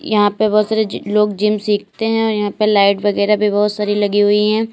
यहां पे बोहोत सारे जी लोग जिम सीखते हैं और यहां पे लाइट वगैरा भी बोहोत सारी लगी हुई हैं।